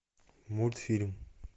мультфильм